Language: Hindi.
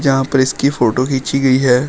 यहां पर इसकी फोटो खींची गई है।